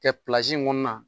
Kɛ in kɔnɔna